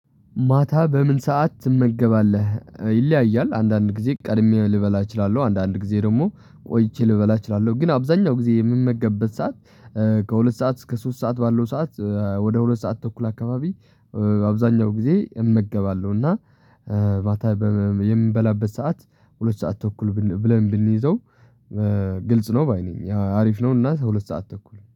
ማታ በምን ሰዓት ትመገባለህ? ይለያያል አንዳንድ ጊዜ ቀድሜ ልበላ እችላለሁ አንዳንድ ጊዜ ደግሞ ቆይቼ ልበላ እችላለሁ። ግን አብዛኛው ጊዜ የምመገበት ሰዓት ከሁለት ሰዓት እስከ ሶስት ሰዓት ባለው ሰዓት ወደ ሁለት ሰዓት ተኩል አካባቢ። አብዛኛው ጊዜ እመገባለሁ። እና ማታ የምንበላበት ሰዓት ሁለት ሰዓት ተኩል ብለን ብንይዘው ግልጽ ነው ባይ ነኝ አሪፍ ነው። እና ሁለት ሰዓት ተኩል